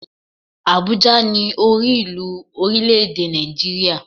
Àbújá ni orí ìlú orílè èdè Nàìjíríà